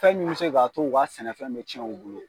Fɛn min bɛ se k'a to u ka sɛnɛfɛn bɛ cɛn u bolo.